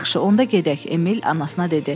Yaxşı, onda gedək, Emil anasına dedi.